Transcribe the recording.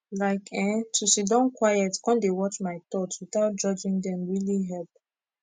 like eh to siddon quiet con dey watch my thoughts without judging dem really help